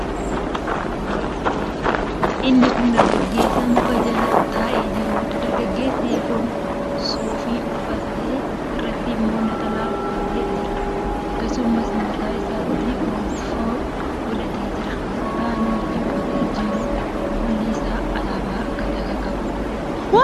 Inni kun dargaggeessa muka jala taa'ee jiruudha. Dargaggeessi kun suufii uffatee, irratti immoo naxalaa uffatee jira. Akkasumas, mataa isaatti gonfoo godhatee jira. Naxalaan namichi uffatee jiru kuulli isaa alaabaa Gadaa kan qabuudha.